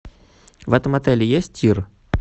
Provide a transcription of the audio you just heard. в этом отеле есть тир